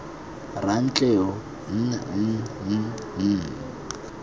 rantleru m m m m